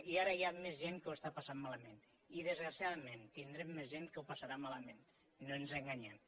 i ara hi ha més gent que ho està passant malament i desgraciadament tindrem més gent que ho passarà malament no ens enganyem